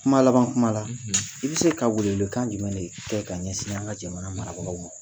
Kuma laban kuma na i bɛ se ka welewelekan jumɛn de kɛ ka ɲɛsin an ka jamana marabagaw ma?